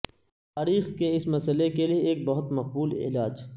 تاریخ کے اس مسئلہ کے لئے ایک بہت مقبول علاج